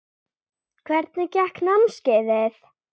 Hvernig gekk námskeiðið?